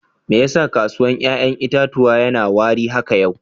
Me ya sa kasuwan yayan itatuwan ya na wari haka yau?